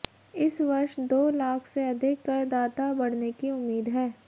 इस वर्ष दो लाख से अधिक कर दाता बढ़ने की उम्मीद है